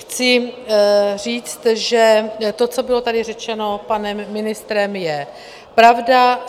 Chci říct, že to, co tady bylo řečeno panem ministrem, je pravda.